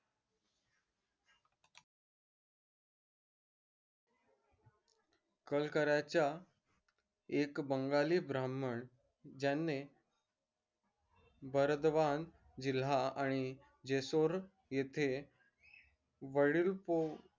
कलकराच्या एक बंगाली ब्राह्मण ज्याने बर्दवान जिल्हा आणि जेसुर येथे